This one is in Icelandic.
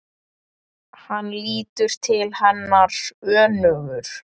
Hann lítur til hennar önugur.